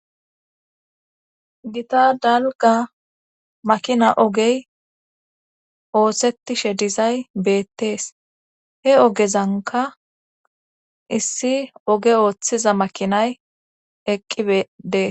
Gita dalga makina ogey oosettishe dizay beettees he ogezanka issi oge ooththiza makinay eqqi bedees.